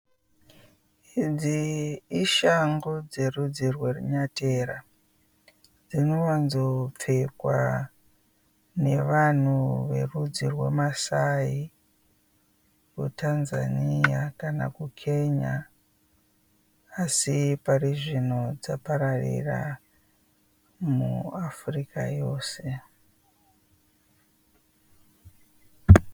Idzi ishangu dzerudzi rwerunyatera, dzinowanzopfekwa nevanhu verudzi rweMassai kuTanzania kana kuKenya asi pari zvino dzapararira muAfrica yose.